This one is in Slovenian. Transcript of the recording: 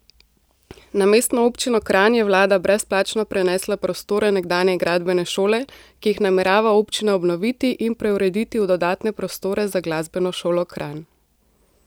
Na Mestno občino Kranj je vlada brezplačno prenesla prostore nekdanje gradbene šole, ki jih namerava občina obnoviti in preurediti v dodatne prostore za Glasbeno šolo Kranj.